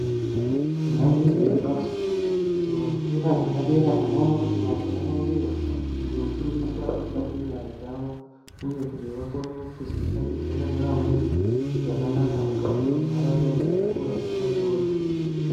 Maizviziya ere kuti, kuti muzvikora zvepadera tinoona kuti vantu vanoendeyo kunofundiswa mishando yenyara dzayo, uye kuti vakone kuzoshandidzana nevamweni zvakanaka mukati mentaraunda dzezvikora izvozvo.